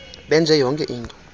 benze yonke into